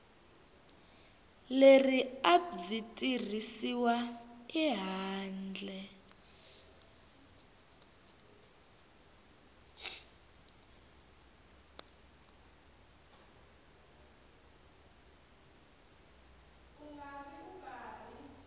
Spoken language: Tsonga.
leri a byi tirhisiwi handle